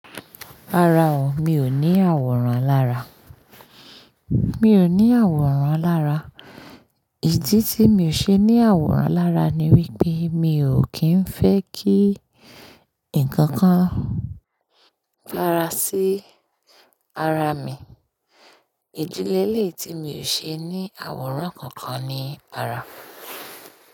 Rárá o, mi ò ní àwòrán alára. Mi ò ní àwòrán alára. Ìdí tí mi ò ṣe ní àwòrán lára ni wípé mi ò kín fẹ́ kí ǹkan kan rárá sí ara mi. Ìdi lele tí mi ò ṣe ní àwòrán kankan ni ara.